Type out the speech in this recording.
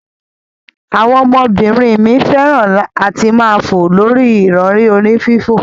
Awon omo binrin mi feran ati maa fo lori irori oni fifo.